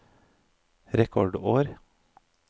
rekordår